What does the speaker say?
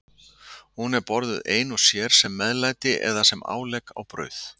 Hún er borðuð ein og sér, sem meðlæti eða sem álegg á brauð.